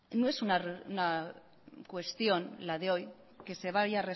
no es una cuestión la de hoy que se vaya